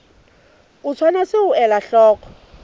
o tshwanetse ho ela hloko